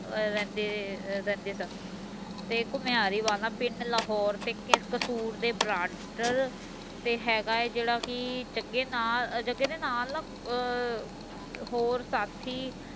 ਰਹਿੰਦੇ ਰਹਿੰਦੇ ਸਨ ਤੇ ਘੁਮਿਆਰੀ ਵਾਲਾ ਪਿੰਡ ਲਾਹੌਰ ਤੇ ਕਸੂਰ ਦੇ ਤੇ ਹੇਗਾ ਹੈ ਜੇਡਾ ਕਿ ਜਗੇ ਨਾਲ ਜਗੇ ਦੇ ਨਾਲ ਨਾ ਅਹ ਹੋਰ ਸਾਥੀ